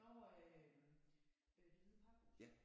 Nårh øh øh Det Hvide Pakhus